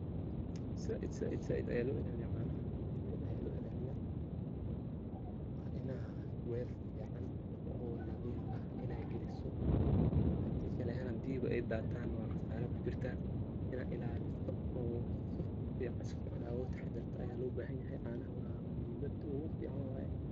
Saiit saiit saiit aya loo ilaaliya canaha saiit aya loo ilaliya waxalugu ilaliinay weel fican oo nadhiif aah inas giliiso hadii kalee ay aheen hadii ay daatan wa qasaara aa kujurta ina ilalisa oo safican uga taxdarta ayaaa lobahiin canaha wa muhiimada ugafican wayee.